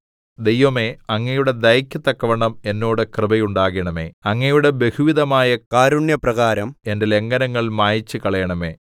ദൈവമേ അങ്ങയുടെ ദയയ്ക്ക് തക്കവണ്ണം എന്നോട് കൃപയുണ്ടാകണമേ അങ്ങയുടെ ബഹുവിധമായ കാരുണ്യപ്രകാരം എന്റെ ലംഘനങ്ങൾ മായിച്ചുകളയണമേ